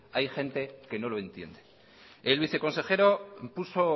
hay gente que no lo entiende el viceconsejero puso